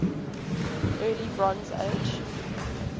early bronze age